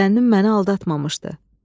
Zənnim məni aldatmamışdı.